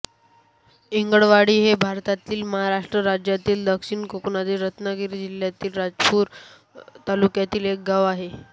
इंगळवाडी हे भारतातील महाराष्ट्र राज्यातील दक्षिण कोकणातील रत्नागिरी जिल्ह्यातील राजापूर तालुक्यातील एक गाव आहे